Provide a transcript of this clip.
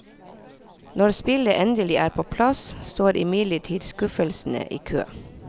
Når spillet endelig er på plass, står imidlertid skuffelsene i kø.